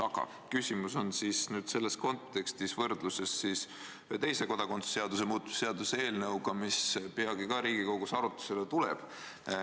Aga küsimus on selles kontekstis võrdluses ühe teise kodakondsuse seaduse muutmise seaduse eelnõuga, mis peagi ka Riigikogus arutlusele tuleb.